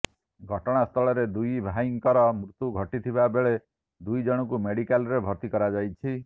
ଘଟଣାସ୍ଥଳରେ ଦୁଇ ଭାଇଙ୍କର ମୃତ୍ୟୁ ଘଟିଥିବା ବେଳେ ଦୁଇ ଜଣଙ୍କୁ ମେଡିକାଲ୍ରେ ଭର୍ତ୍ତି କରାଯାଇଛି